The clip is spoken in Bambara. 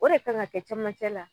O de kan ka kɛ camancɛ la.